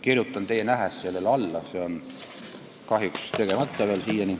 Kirjutan teie nähes sellele alla, see on kahjuks veel siiani tegemata.